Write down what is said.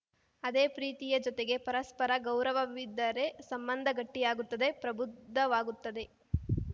ಅದೇ ಪ್ರೀತಿಯ ಜೊತೆಗೆ ಪರಸ್ಪರ ಗೌರವವಿದ್ದರೆ ಸಂಬಂಧ ಗಟ್ಟಿಯಾಗುತ್ತದೆ ಪ್ರಬುದ್ಧವಾಗುತ್ತದೆ